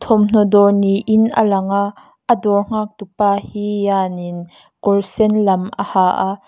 thawmhnaw dawr niin a lang a a dawr nghaktu pa hi ianin kawr sen lam a ha a--